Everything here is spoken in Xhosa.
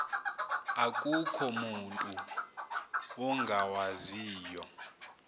akukho mutu ungawaziyo